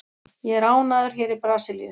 Ég er ánægður hér í Brasilíu.